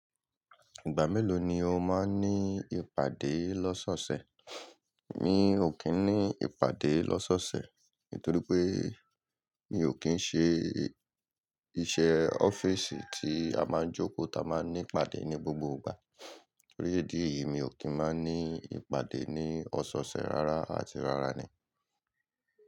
Ìgbà mélòó ni o máa ń ní ìpàdé lọ́sọ́ṣẹ̀? Mi ò kí ń ní ìpàdé lọ́sọ́ṣẹ̀ nítorí pé mi ò kín ń ṣe iṣẹ́ ọ́fíìsì kí a máa ń jókòó ta máa ń ní ìpàdé ní gbogbo ìgbà. Tori idí èyí mi ò kín máa ń ní ìpàdé ní ọ̀sọ̀ọ̀ṣẹ̀ rárá àti rárá ni.